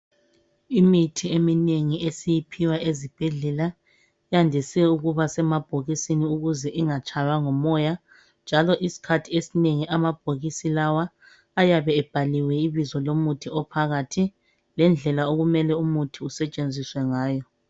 Imithi eminengi esiyiphiwa ezibhedlela yandise ukuba semabhokisini ukuze ingatshaywa ngumoya njalo isikhathi esinengi amabhokisi lawa ayabe ebhaliwe ibizo lomuthi ophakathi lendlela okumele umuthi usetshenziswe ngayo.